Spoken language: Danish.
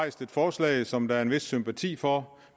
et forslag som der er en vis sympati for og